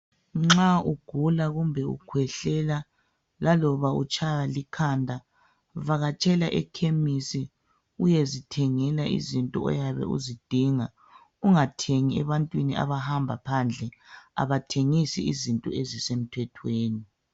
Nxa ugula kumbe ukhwehlela laloba utshaywa likhanda vakatshela ekhemisi uyezithengela izinto oyabe uzidinga ungathengi ebantwini abahamba phandle abathengisi izinto ezisemthetweni